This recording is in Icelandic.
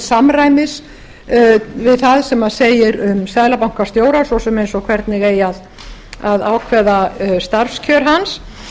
samræmis við það sem segir um seðlabankastjóra svo sem eins og hvernig eigi að ákveða starfskjör hans